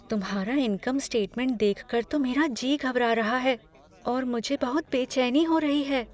तुम्हारा income statement देखकर तो मेरा जी घबरा रहा है और मुझे बहुत बेचैनी हो रही है।